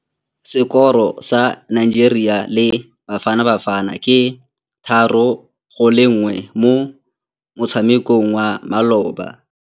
Sekôrô sa Nigeria le Bafanabafana ke 3-1 mo motshamekong wa malôba.